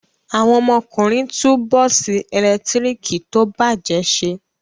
Àwọn ọmọkùnrin tún bọ́ọ́sì ẹ̀lẹ́tíríkì tó bàjẹ́ ṣe.